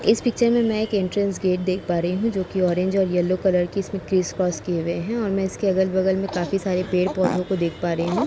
इस पिक्चर में एक इंटरस गेट दिख पा रही हूँ जो कि ऑरेंज और येल्लो कलर की इसमें क्रिस क्रॉस किये हुए हैं और में इसके अगल बगल में काफ़ी सारे पेड़ पौधे को दिख पा रही हूँ।